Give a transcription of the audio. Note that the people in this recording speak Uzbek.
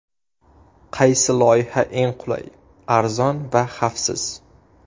Qaysi loyiha eng qulay, arzon va xavfsiz.